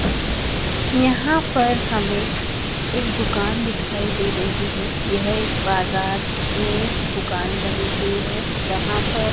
यहां पर हमें एक दुकान दिखाई दे रही है यह एक बाजार में दुकान बनी हुई है जहां पर--